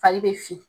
Fari bɛ fin